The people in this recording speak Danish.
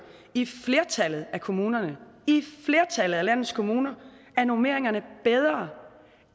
i flertallet af kommunerne i flertallet af landets kommuner er normeringerne bedre